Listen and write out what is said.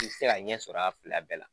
K'i bi se ka ɲɛ sɔrɔ a fila bɛɛ la